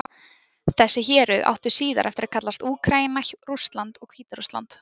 Þessi héruð áttu síðar eftir að kallast Úkraína, Rússland og Hvíta-Rússland.